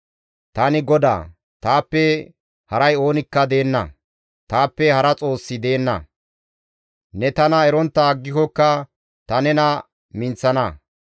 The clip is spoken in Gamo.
Tani GODAA; taappe haray oonikka deenna; taappe hara Xoossi deenna; ne tana erontta aggikokka ta nena minththana.